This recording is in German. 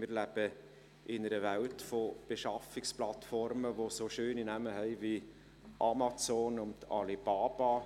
Wir leben in einer Welt von Beschaffungsplattformen, die so schöne Namen haben wie «Amazon» und «Alibaba»,